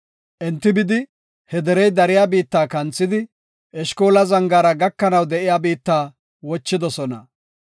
Enti bidi, he derey dariya biitta kanthidi, Eshkola zangaara gakanaw de7iya biitta wochidosona.